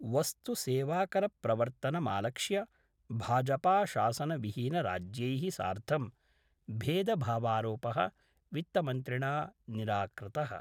वस्तुसेवाकरप्रवर्तनमालक्ष्य भाजपाशासनविहीनराज्यैः सार्धं भेदभावारोपः वित्तमन्त्रिणा निराकृतः।